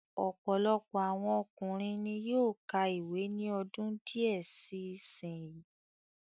Ọ̀pọ̀lọpọ̀ àwọn obìnrin ni yóó ka ìwé ní ọdún díẹ̀ sí sin yìí.